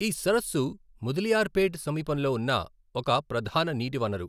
ఈ సరస్సు ముదలియార్పేట్ సమీపంలో ఉన్న ఒక ప్రధాన నీటి వనరు.